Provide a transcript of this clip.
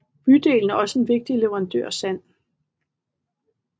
Bydelen er også en vigtig leverandør af sand